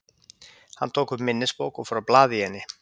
Hann tók upp minnisbók og fór að blaða í henni.